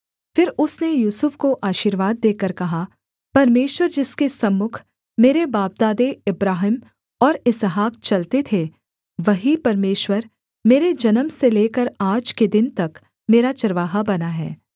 फिर उसने यूसुफ को आशीर्वाद देकर कहा परमेश्वर जिसके सम्मुख मेरे बापदादे अब्राहम और इसहाक चलते थे वही परमेश्वर मेरे जन्म से लेकर आज के दिन तक मेरा चरवाहा बना है